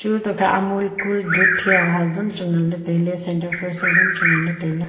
chu to khe amul cool doodh hiya hazam chu ngan ley tailey center fresh hazam chu nganley tailey.